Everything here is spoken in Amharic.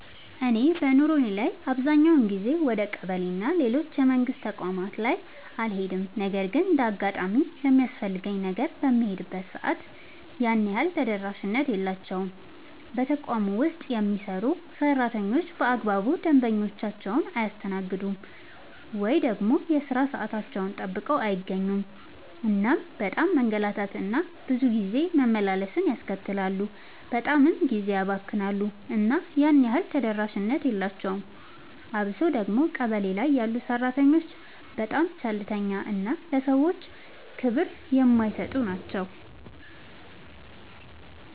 እኔ በኑሮዬ ላይ አብዛኛውን ጊዜ ወደ ቀበሌ እና ሌሎች የመንግስት ተቋማት ላይ አልሄድም ነገር ግን እንደ አጋጣሚ ለሚያስፈልገኝ ነገር በምሄድበት ሰዓት ያን ያህል ተደራሽነት የላቸውም። በተቋም ውስጥ የሚሰሩ ሰራተኞች በአግባቡ ደንበኞቻቸውን አያስተናግዱም። ወይ ደግሞ የሥራ ሰዓታቸውን ጠብቀው አይገኙም እናም በጣም መንገላታት እና ብዙ ጊዜ መመላለስን ያስከትላሉ በጣምም ጊዜ ያባክናሉ እና ያን ያህል ተደራሽነት የላቸውም። አብሶ ደግሞ ቀበሌ ላይ ያሉ ሰራተኞች በጣም ቸልተኛ እና ለሰዎች ክብር የማይሰጡ ናቸው።